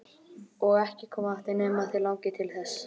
Og ekki koma aftur nema þig langi til þess.